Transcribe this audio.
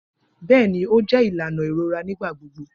Bẹẹni, o jẹ ilana irora nigbagbogbo